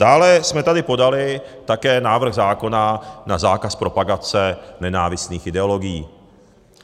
Dále jsme tady podali také návrh zákona na zákaz propagace nenávistných ideologií.